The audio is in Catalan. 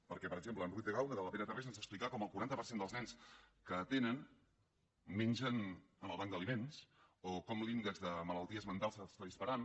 perquè per exemple en ruiz de gauna de la pere tarrés ens explicà com el quaranta per cent dels nens que atenen mengen al banc d’aliments o com l’índex de malalties mentals s’està disparant